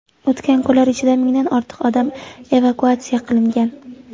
O‘tgan kunlar ichida mingdan ortiq odam evakuatsiya qilingan.